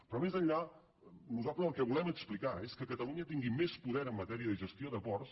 però més enllà nosaltres el que volem explicar és que catalunya tingui més poder en matèria de gestió de ports